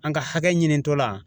An ka hakɛ ɲinitɔla